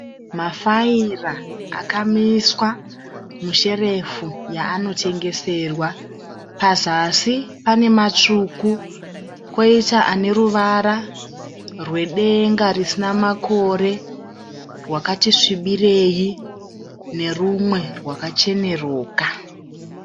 Mafaira akamiswa musherefu yaanotengeserwa. Pazasi pane matsvuku koita ane ruvara rwedenga risina makore rwakati svibirei norumwe rwakacheneruka.